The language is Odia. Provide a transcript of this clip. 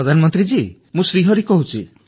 ପ୍ରଧାନମନ୍ତ୍ରୀ ଜୀ ମୁଁ ଶ୍ରୀ ହରି କହୁଛି